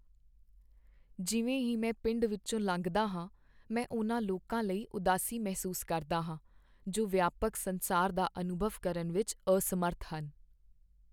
ਜਿਵੇਂ ਹੀ ਮੈਂ ਪਿੰਡ ਵਿੱਚੋਂ ਲੰਘਦਾ ਹਾਂ, ਮੈਂ ਉਨ੍ਹਾਂ ਲੋਕਾਂ ਲਈ ਉਦਾਸੀ ਮਹਿਸੂਸ ਕਰਦਾ ਹਾਂ ਜੋ ਵਿਆਪਕ ਸੰਸਾਰ ਦਾ ਅਨੁਭਵ ਕਰਨ ਵਿੱਚ ਅਸਮਰੱਥ ਹਨ।